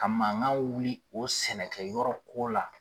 Ka mankan wuli o sɛnɛkɛ yɔrɔ ko la